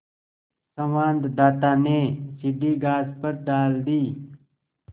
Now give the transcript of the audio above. संवाददाता ने सीढ़ी घास पर डाल दी